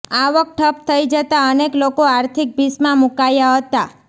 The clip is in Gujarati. આવક ઠપ થઈ જતાં અનેક લોકો આર્થિક ભીસમાં મુકાયા હતાં